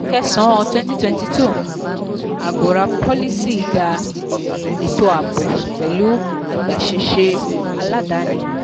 kẹsàn-án twenty twenty two um agora policy dá um ètò ààbò pẹ̀lú agbáṣẹ́ṣe aládani.